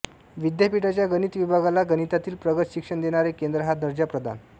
विद्यापीठाच्या गणित विभागाला गणितातील प्रगत शिक्षण देणारे केंद्र हा दर्जा प्रदान